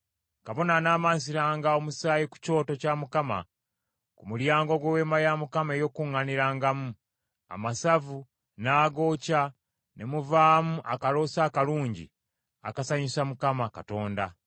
Kabona anaamansiranga omusaayi ku kyoto kya Mukama ku mulyango gw’Eweema ey’Okukuŋŋaanirangamu, amasavu n’agookya ne muvaamu akaloosa akalungi akasanyusa Mukama Katonda.